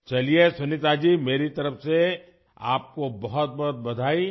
چلیے سنیتا جی، میری طرف سے آپ کو بہت بہت مبارکباد